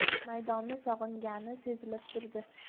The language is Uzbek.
Maydonni sog‘ingani sezilib turdi.